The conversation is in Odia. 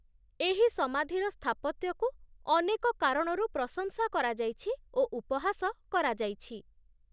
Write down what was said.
ଏହି ସମାଧିର ସ୍ଥାପତ୍ୟକୁ ଅନେକ କାରଣରୁ ପ୍ରଶଂସା କରାଯାଇଛି ଓ ଉପହାସ କରାଯାଇଛି।